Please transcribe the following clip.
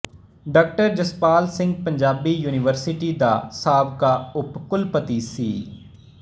ਡਾ ਜਸਪਾਲ ਸਿੰਘ ਪੰਜਾਬੀ ਯੂਨੀਵਰਸਿਟੀ ਦਾ ਸਾਬਕਾ ਉਪ ਕੁਲਪਤੀ ਸੀ